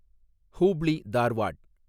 Hubli, Dharwad